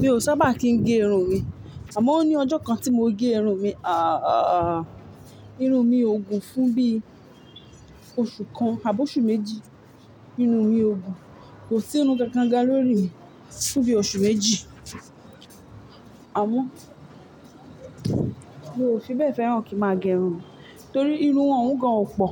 Mi ò sábà kín gé irun mi, àmọ́ ó ní ọjọ́ kan tí mo gé irun mi. Àa aa, irun mi ò gùn fún bí oṣù kan àbò oṣù méjì. Irun mi ò gùn, kò sí irún kankan gan lórí mi fún bí oṣù méjì. Àmọ́ mi ò fi bẹ́ẹ̀ fẹ́ràn kí máa gé irun mi, torí irun òun gán ọ̀ pọ̀.